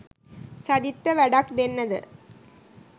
සජිත්ට වැඩක් දෙන්න ද